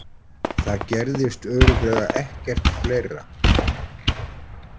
Það gerðist örugglega ekkert fleira.